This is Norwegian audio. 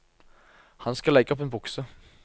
Han skal legge opp en bukse.